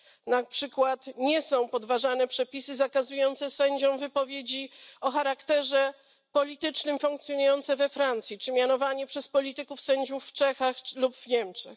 Na przykład nie są podważane przepisy zakazujące sędziom wypowiedzi o charakterze politycznym, funkcjonujące we Francji, czy mianowanie przez polityków sędziów w Czechach lub Niemczech.